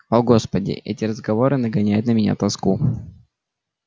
о господи эти разговоры нагоняют на меня тоску